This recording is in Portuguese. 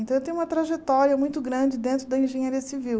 Então eu tenho uma trajetória muito grande dentro da engenharia civil.